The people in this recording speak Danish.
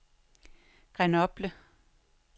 Grenoble